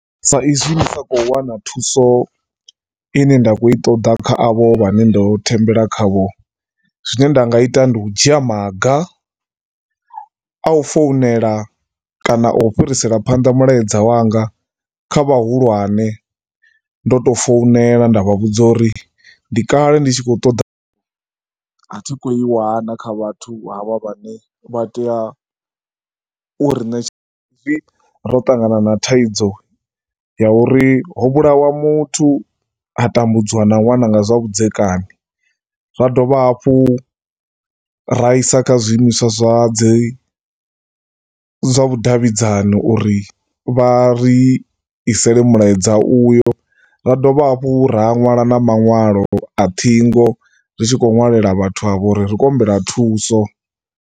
Saizwi ndi sa khou wana thuso i ne nda khou i ṱoḓa kha avho vhane ndo thembela khavho. Zwine nda nga zwi ita ndi u dzhia maga a u founela kana a u fhirisela phanḓa mulaedza wanga kha vhahulwane ndo tou founela nda vha vhudza uri ndi kale ndi tshi khou ṱoḓa , a thi khou i wana kha vhathu havha vhane vha tea u ri ṋe hezwi ro ṱangana na thaidzo ya uri ho vhulawa muthu ha tambudziwa na ṅwana nga zwa vhudzekani. Ra dovha hafhu ra isa kha zwiimiswa zwa dzi, zwa vhudavhidzano uri vha ri isele mulaedza uyo, ra dovha hafhu ra ṅwala na maṅwalo a ṱhingo ri tshi khou ṅwalela vhathu avho uri ri khou humbela thuso.